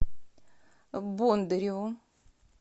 бондареву